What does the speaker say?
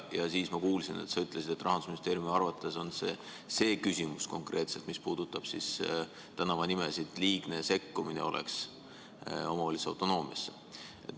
Siis ma kuulsin, et sa ütlesid, et Rahandusministeeriumi arvates oleks konkreetselt see küsimus, mis puudutab tänavanimesid, liigne sekkumine omavalitsuse autonoomiasse.